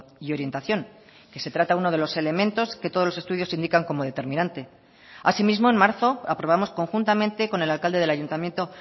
y orientación que se trata uno de los elementos que todos los estudios indican como determinante asimismo en marzo aprobamos conjuntamente con el alcalde del ayuntamiento